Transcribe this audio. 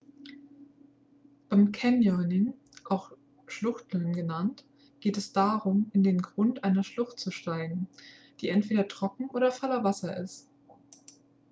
beim canyoning auch schluchteln genannt geht es darum in den grund einer schlucht zu steigen die entweder trocken oder voller wasser ist